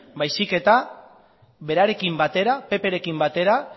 baizik eta berarekin batera pprekin batera